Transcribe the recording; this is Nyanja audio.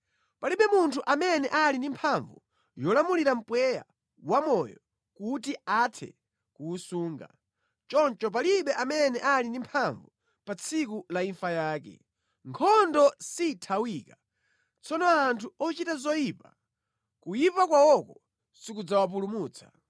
Palibe munthu amene ali ndi mphamvu yolamulira mpweya wa moyo kuti athe kuwusunga, choncho palibe amene ali ndi mphamvu pa tsiku la imfa yake. Nkhondo sithawika; tsono anthu ochita zoyipa, kuyipa kwawoko sikudzawapulumutsa.